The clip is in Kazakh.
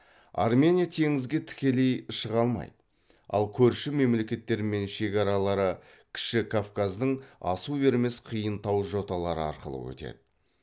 армения теңізге тікелей шыға алмайды ал көрші мемлекеттермен шекаралары кіші кавказдың асу бермес қиын тау жоталары арқылы өтеді